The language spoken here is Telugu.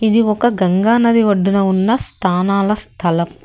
ఇది ఒక గంగా నది ఒడ్డున ఉన్న స్థానాల స్థలం.